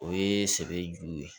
O ye sɛbɛ juru ye